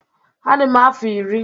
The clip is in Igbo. Adị m afọ iri.